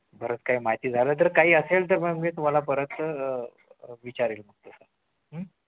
परत काय माहिती झालं तर काही असेल तर मग मी तुम्हाला परत अह विचारेल